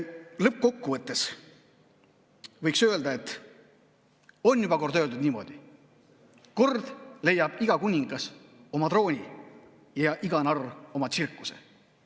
Lõppkokkuvõttes võiks öelda niimoodi, et kord leiab iga kuningas oma trooni ja iga narr oma tsirkuse.